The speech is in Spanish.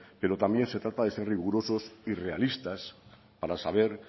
pero también se trata de ser rigurosos y realistas para saber